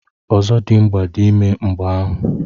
Ozodimgba dị ime mgbeahu.